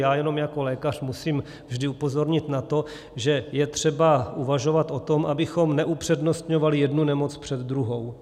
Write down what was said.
Já jenom jako lékař musím vždy upozornit na to, že je třeba uvažovat o tom, abychom neupřednostňovali jednu nemoc před druhou.